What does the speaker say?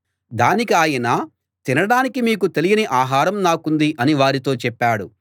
దానికి ఆయన తినడానికి మీకు తెలియని ఆహారం నాకుంది అని వారితో చెప్పాడు